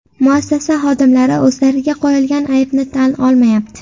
Muassasa xodimlari o‘zlariga qo‘yilgan aybni tan olmayapti.